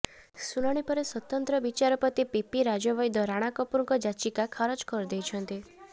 ଶୁଣାଣି ପରେ ସ୍ବତନ୍ତ୍ର ବିଚାରପତି ପିପି ରାଜବୈଦ୍ୟ ରାଣା କପୁରଙ୍କ ଯାଚିକା ଖାରଜ କରି ଦେଇଛନ୍ତି